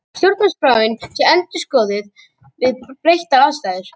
Stjórnarskráin sé endurskoðuð við breyttar aðstæður